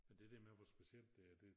Men det der med hvor specielt det er det